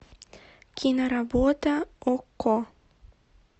киноработа окко